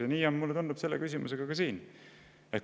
Ja nii on see, mulle tundub, ka siin selle küsimuse puhul.